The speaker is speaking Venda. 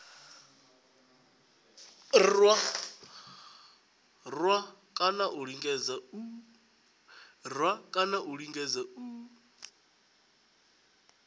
rwa kana a lingedza u